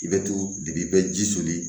I bɛ to de i bɛ ji soli